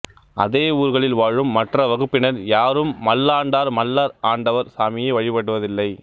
அதே ஊர்களில் வாழும் மற்ற வகுப்பினர் யாரும் மல்லாண்டார் மல்லர்ஆண்டவர் சாமியை வழிபடுவதில்லை